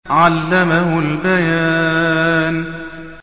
عَلَّمَهُ الْبَيَانَ